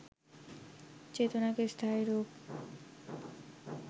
চেতনাকে স্থায়ী রূপ